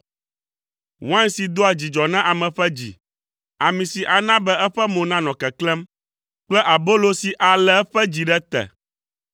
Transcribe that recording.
wain si doa dzidzɔ na ame ƒe dzi, ami si ana be eƒe mo nanɔ keklẽm kple abolo si alé eƒe dzi ɖe te.